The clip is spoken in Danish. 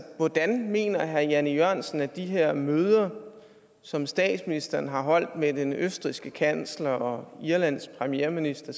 hvordan mener herre jan e jørgensen at de her møder som statsministeren har holdt med den østrigske kansler og irlands premierminister